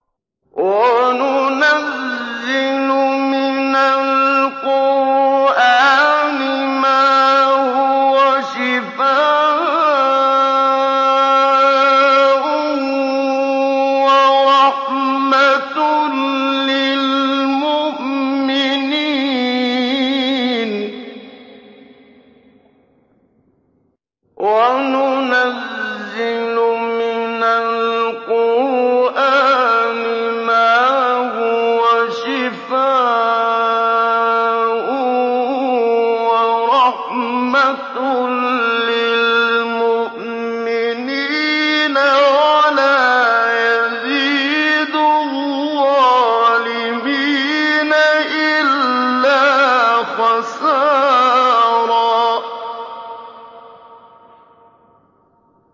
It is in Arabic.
وَنُنَزِّلُ مِنَ الْقُرْآنِ مَا هُوَ شِفَاءٌ وَرَحْمَةٌ لِّلْمُؤْمِنِينَ ۙ وَلَا يَزِيدُ الظَّالِمِينَ إِلَّا خَسَارًا